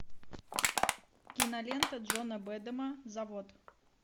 кинолента джона бэдэма завод